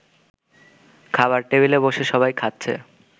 খাবার টেবিলে বসে সবাই খাচ্ছে